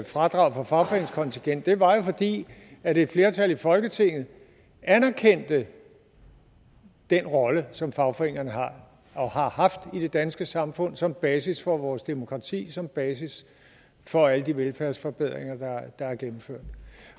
fradrag for fagforeningskontingent det var jo fordi et flertal i folketinget anerkendte den rolle som fagforeningerne har og har haft i det danske samfund som basis for vores demokrati og som basis for alle de velfærdsforbedringer der er gennemført